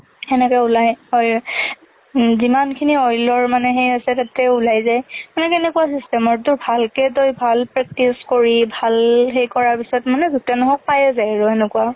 খেনেকে ওলাই, অ ~যিমান খিনি oil ৰ মানে সেই আছে তাতে ওলাই যে। same এনেকুৱা system ৰ টো, ভালকে তই ভাল practice কৰি, ভাল সেই কৰাৰ পিছত মানে যতেই নহওঁক পাইয়ে যাই।